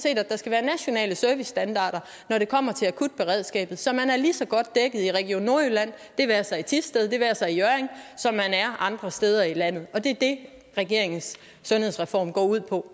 at der skal være nationale servicestandarder når det kommer til akutberedskabet så man er lige så godt dækket i region nordjylland det være sig i thisted det være sig i hjørring som man er andre steder i landet og det er det regeringens sundhedsreform går ud på